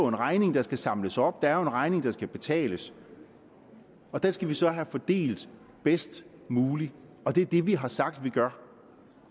en regning der skal samles op at der er en regning der skal betales og den skal vi så have fordelt bedst muligt det er det vi har sagt at vi gør